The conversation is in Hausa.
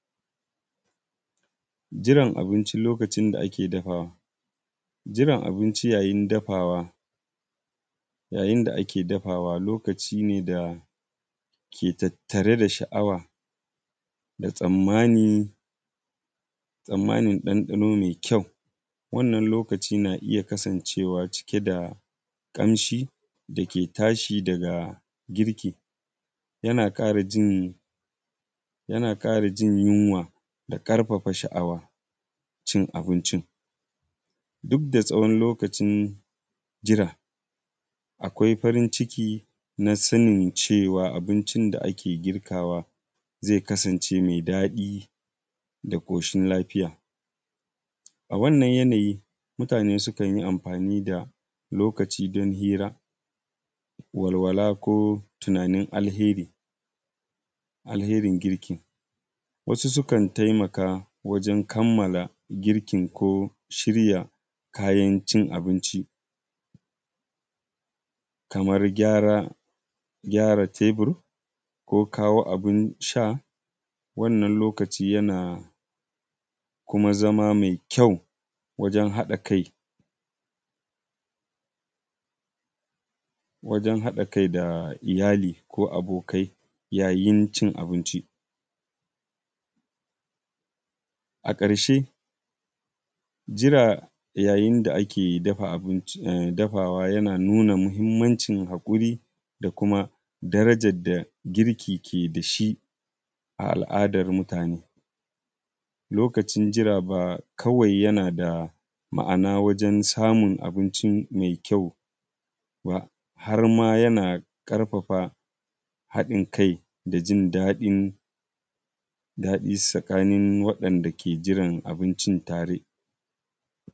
Jiran abinci lokacin da ake dafawa, jiran abinci yayin da ake dafawa yayin da ake dafawa lokaci ne ke tattare da sha'awa da tsammani mai ƙyau, lokaci ne da ake kasancewa cike da kamshi dake tashi daga girki, yana tkara jin yunwa da ƙarfafa shaawa cin abincin duk da lokacin jira. Akwai farin ciki sanin cewa abincin da ake girkawa ya kasance mai daɗi da koshin lafiya. A wannan wurare akan yi amfani da lokaci wajen hira walwala ko tunanin alherin girkin. Wasu sukan taimaka wajen kammala girki kayan cin abinci kamar gyara taibur shirya abun sha wannan lokaci kuma yana zama mai ƙyau wajen haɗa kai da iyalai ko abokai yayin cin abinci. A karshe jira yayin da ake dagawa yana nuna muhimmancin hakuri da muhimmanci da girki ke da shi a al'adar mutanen. lokacin jira fa yana da ma'ana don samun abinci mai ƙyau, har ma yana ƙarfafa haɗin kai tsakanin waɗanda ke jirana abincin tare.